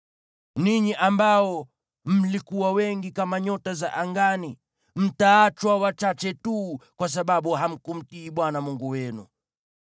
Ninyi ambao mlikuwa wengi kama nyota za angani mtaachwa wachache tu, kwa sababu hamkumtii Bwana Mungu wenu.